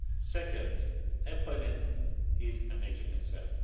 Second, employment is a major concern.